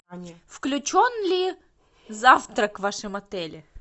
включен ли завтрак в вашем отеле